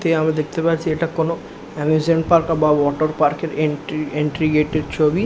তে আমরা দেখতে পাচ্ছি এটা কোনো আমিউসমেন্ট পার্ক বা ওয়াটার পার্ক এর এন্ট্রি এন্ট্রি গেট এর ছবি।